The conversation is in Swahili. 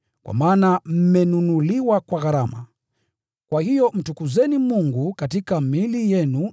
kwa maana mmenunuliwa kwa gharama. Kwa hiyo mtukuzeni Mungu katika miili yenu.